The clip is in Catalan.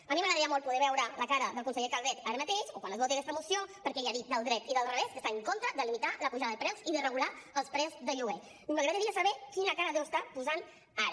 a mi m’agradaria molt poder veure la cara del conseller calvet ara mateix o quan es voti aquesta moció perquè ell ha dit del dret i del revés que està en contra de limitar la pujada de preus i de regular els preus de lloguer i m’agradaria saber quina cara deu estar posant ara